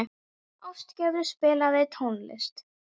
Ástgerður, spilaðu tónlist.